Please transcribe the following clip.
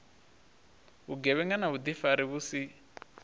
vhugevhenga na vhuḓifari vhu si